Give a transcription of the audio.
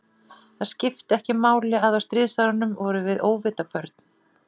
Það skipti ekki máli, að á stríðsárunum vorum við óvita börn.